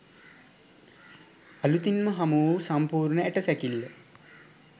අලුතින්ම හමු වූ සම්පූර්ණ ඇටසැකිල්ල